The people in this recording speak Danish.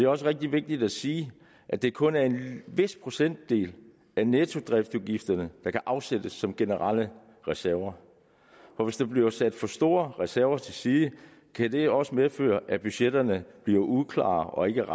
også rigtig vigtigt at sige at det kun er en vis procentdel af nettodriftsudgifterne der kan afsættes som generelle reserver for hvis der bliver sat for store reserver til side kan det også medføre at budgetterne bliver uklare og ikke